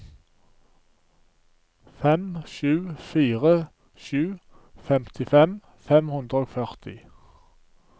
fem sju fire sju femtifem fem hundre og førti